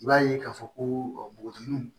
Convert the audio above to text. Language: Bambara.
I b'a ye k'a fɔ ko bɔgɔdenw